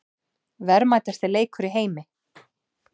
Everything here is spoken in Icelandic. Verðmætasti leikur í heimi